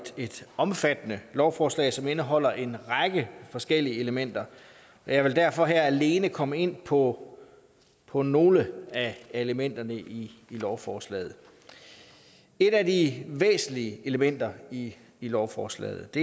et omfattende lovforslag som indeholder en række forskellige elementer jeg vil derfor her alene komme ind på på nogle af elementerne i lovforslaget et af de væsentlige elementer i lovforslaget